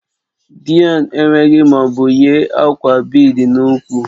Deon enweghị ma ọ bụ yi akwa bead n'úkwù